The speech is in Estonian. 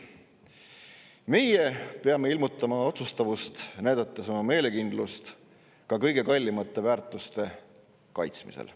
Me peame ilmutama otsustavust, näidates oma meelekindlust ka kõige kallimate väärtuste kaitsmisel.